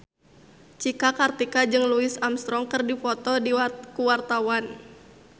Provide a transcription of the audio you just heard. Cika Kartika jeung Louis Armstrong keur dipoto ku wartawan